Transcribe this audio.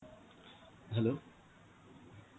hello